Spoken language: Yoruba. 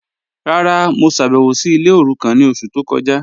Rárá, mo ṣábẹwò sí ilẹ̀ orúkàn ni ọṣù tó kọja..